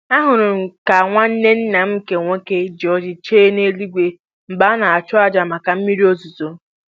Ahụrụ ka nwanne nna m nke nwoke ji ọjị chee n'eluigwe mgbe a na-achụ aja maka mmiri ozuzo